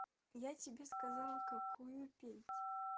я тебе сказал какую петь